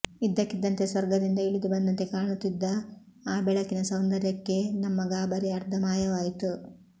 ಇದ್ದಕ್ಕಿದ್ದಂತೆ ಸ್ವರ್ಗದಿಂದ ಇಳಿದು ಬಂದಂತೆ ಕಾಣುತ್ತಿದ್ದ ಆ ಬೆಳಕಿನ ಸೌಂದರ್ಯಕ್ಕೇ ನಮ್ಮ ಗಾಬರಿ ಅರ್ಧ ಮಾಯವಾಯಿತು